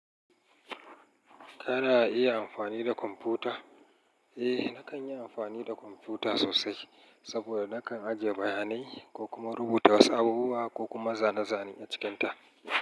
Kana iya amfani da kwamfuta? Eh, nakan yi amfani da kwamfuta sosai saboda nakan ajiye bayanai ko kuma rubuta wasu abubuwa ko kuma zane-zane a cikinta.